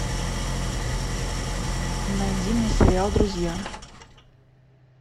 найди мне сериал друзья